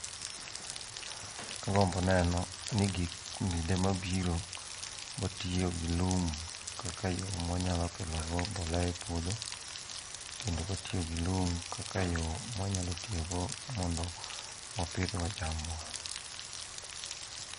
Agombo neno ni kinde mabiro watiyo gi lum kaka yo mwanyalo kelogo mbolea e puodho, kendo kwatiyo gi lum kaka yo mwanyalo tiyogo mondo wapidhgo chambwa.